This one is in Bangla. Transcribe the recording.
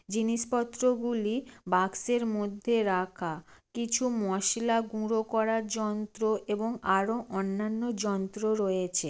জিনিসপত্র গুলি বাক্সের মধ্যে রাখা। কিছু মশলা গুঁড়ো করার যন্ত্র এবং আরো অন্যান্য যন্ত্র রয়েছে।